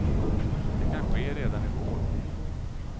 Det kan ske redan i vår.